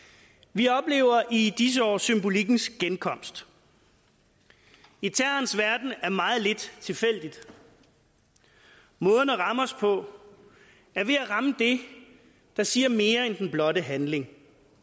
vi oplever i disse år symbolikkens genkomst i terrorens verden er meget lidt tilfældigt måden at ramme os på er ved at ramme det der siger mere end den blotte handling